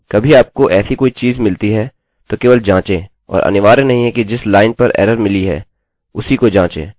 यदि कभी आपको ऐसी कोई चीज़ मिलती हैतो केवल जाँचें और अनिवार्य नहीं है कि जिस लाइन पर एररerror मिली है उसी को जाँचें